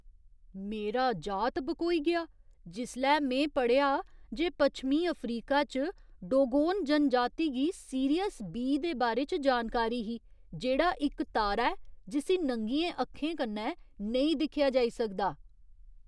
मेरा जात बकोई गेआ जिसलै में पढ़ेआ जे पच्छमीं अफ्रीका च डोगोन जनजाति गी 'सीरियस बी' दे बारे च जानकारी ही, जेह्ड़ा इक तारा ऐ, जिस्सी नंगियें अक्खें कन्नै नेईं दिक्खेआ जाई सकदा।